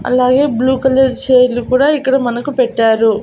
అలాగే blue colour చైర్లు కూడా ఇక్కడ మనకు పెట్టారు.